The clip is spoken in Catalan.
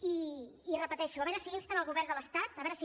i ho repeteixo a veure si insten el govern de l’estat a veure si